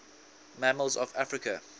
mammals of africa